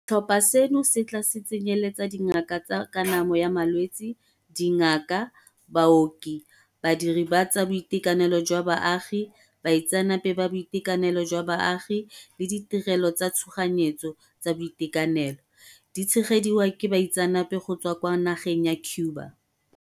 Setlhopha seno se tla tsenyeletsa dingaka tsa kanamo ya malwetse, dingaka, baoki, badiri ba tsa boitekanelo jwa baagi, baitseanape ba boitekanelo jwa baagi le ditirelo tsa tshoganyetso tsa boitekanelo, di tshegediwa ke baitseanape go tswa kwa nageng ya Cuba.